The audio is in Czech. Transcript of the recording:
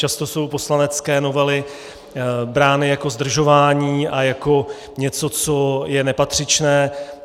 Často jsou poslanecké novely brány jako zdržování a jako něco, co je nepatřičné.